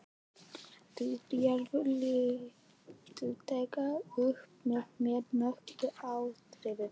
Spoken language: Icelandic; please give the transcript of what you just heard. Rifjaðu lítillega upp með mér nokkur atriði.